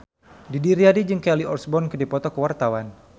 Didi Riyadi jeung Kelly Osbourne keur dipoto ku wartawan